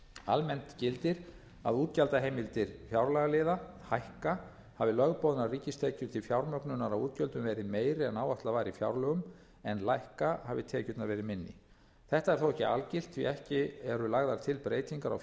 almennt gildir að útgjaldaheimildir fjárlagaliða hækka hafi lögboðnar ríkistekjur til fjármögnunar á útgjöldum verið meiri en áætlað var í fjárlögum en lækka hafi tekjurnar verið minni þetta er þó ekki algilt því að ekki eru lagðar til breytingar á